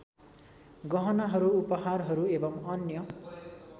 गहनाहरू उपहारहरू एवम् अन्य